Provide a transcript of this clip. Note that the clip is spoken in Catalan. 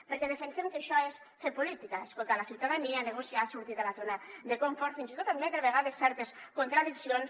perquè defensem que això és fer política escoltar la ciutadania negociar sortir de la zona de confort fins i tot admetre a vegades certes contradiccions